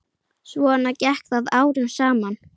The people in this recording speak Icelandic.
Svona gekk það árum saman.